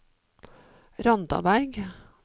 Randaberg